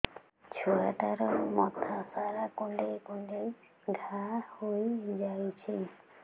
ଛୁଆଟାର ମଥା ସାରା କୁଂଡେଇ କୁଂଡେଇ ଘାଆ ହୋଇ ଯାଇଛି